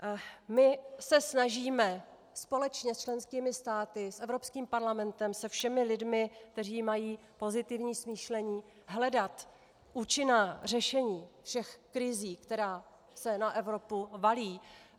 My se snažíme společně s členskými státy, s Evropským parlamentem, se všemi lidmi, kteří mají pozitivní smýšlení, hledat účinná řešení všech krizí, která se na Evropu valí.